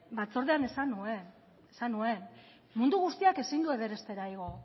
batzordean esan nuen mundu guztiak ezin du everestera igo